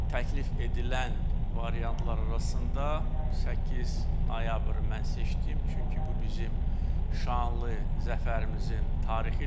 Təklif edilən variantlar arasında 8 noyabrı mən seçdim, çünki bu bizim şanlı zəfərimizin tarixidir.